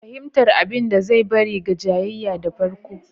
Fahimtar abin da zai bari ga jayayya da farko.